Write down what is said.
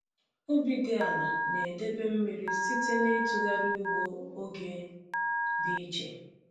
Ubi dị ala na-edebe mmiri site n’itughari ugbo oge dị iche.